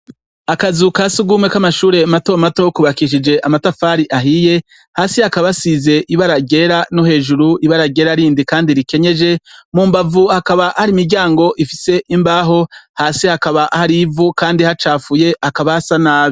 Akazu kasugumwe kamashure mato mato kubakishije amatafari ahiye hasi hakaba hasize ibara ryera no hejuru ibara ryera rindi kandi rikenyeje mumbavu hakaba hari imiryango ifise imbaho hasi hakaba hari ivu kandi hacafuye hakaba hasa nabi.